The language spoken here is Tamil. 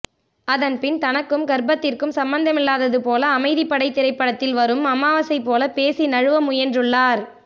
அதன் பின் தனக்கும் கர்ப்பத்திற்கும் சம்பந்தமில்லாதது போல அமைத்திப்படை திரைப்படத்தில் வரும் அமாவாசை போல பேசி நழுவ முயன்றுள்ளார்